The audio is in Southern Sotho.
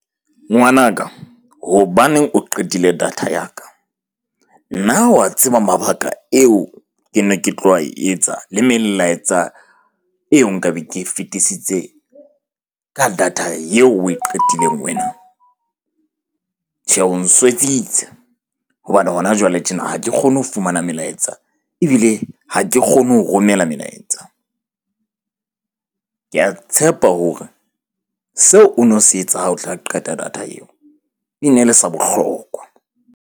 Ngwanaka hobaneng o qetile data ya ka? Na wa tseba mabaka eo ke ne ke tlo a etsa le melaetsa eo nka be ke e fetisitse ka data eo o e qetileng wena? Tjhe, o nswetsitse hobane hona jwale tjena ha ke kgone ho fumana melaetsa ebile ha ke kgone ho romela melaetsa . Ke a tshepa hore seo o no se etsa ha o tla qeta data eo e ne le sa bohlokwa.